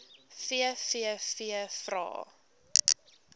vvvvrae